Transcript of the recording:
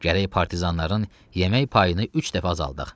Gərək partizanların yemək payını üç dəfə azaldaq.